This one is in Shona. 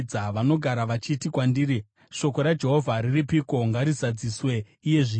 Vanogara vachiti kwandiri, “Shoko raJehovha riripiko? Ngarizadziswe iye zvino!”